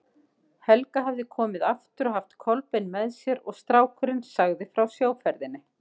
Helga hafði komið aftur og haft Kolbein með sér og strákurinn sagði frá sjóferðinni.